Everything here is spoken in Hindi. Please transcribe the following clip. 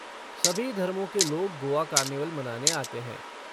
सभी धर्मों के लोग गोआ कार्निवल मनाने आते हैं।